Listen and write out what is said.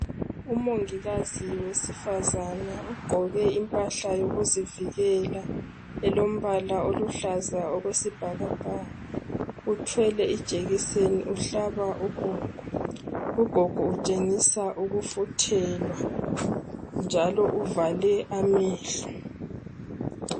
Umongikazi wesifazana ugqoke impahla yokuzivikela elombala oluhlaza okwesibhakabhaka uthwele ijekiseni uhlaba ugogo. Ugogo utshengisa ukufuthelwa njalo uvale amehlo